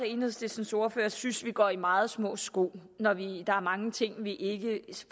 enhedslistens ordfører synes vi går i meget små sko når der er mange ting vi